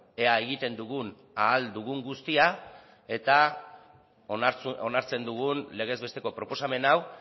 ea egiten dugun ahal dugun guztia eta onartzen dugun legez besteko proposamen hau